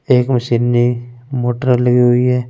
एक में सिन्धी मूत्रा ली हुई है।